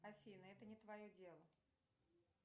афина это не твое дело